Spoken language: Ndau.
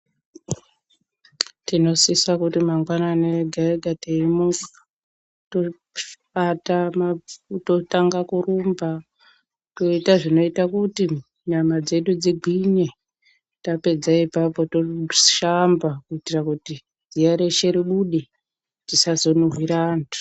Tinosisa kuti mangwanani ega ega teimuka totanga kurumba toita zvinoita kuti nyama dzedu dzingwinye tapedza apapo toshamba kuitira kuti ziya reshe rubude tisazo nuhwira antu.